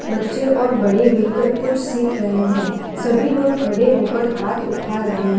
बच्चे और बड़े मिलकर कुछ सीख रहे हैं सभी लोग खड़े होकर हाथ उठा रहे हैं।